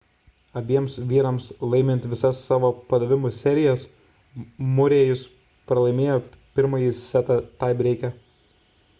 abiems vyrams laimint visas savo padavimų serijas murray'us pralaimėjo pirmąjį setą taibreike